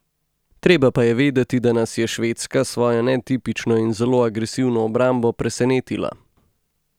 Treba pa je vedeti, da nas je Švedska s svojo netipično in zelo agresivno obrambo presenetila.